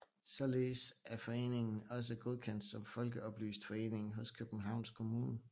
Således er foreningen også godkendt som folkeoplyst forening hos Københavns Kommune